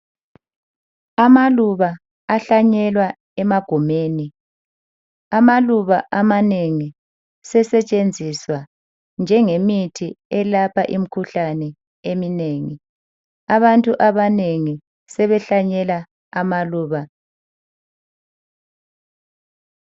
Amaluba ahlanyelwa emagumeni. Amaluba amanengi sesetshenzisa njengemithi elapha imikhuhlane eminengi. Abantu abanengi sebehlanyela amaluba.